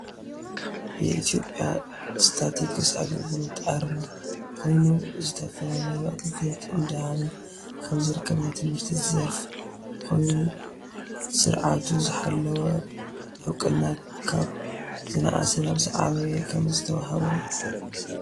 የኢትዮጱያ ስታቲክስ አገልግሎት ኣርማ ኮይኑ ዝተፈላለዩ ኣገልግሎት እዳሃበ ከም ዝርከብ ናይ ትምህርቲ ዘርፍ ኮይኑ ስርዓቀቱ ዘሓለወ እውቅና ካብ ዝናኣሰ ናብ ዝዓበየ ከምዝተውሃቦ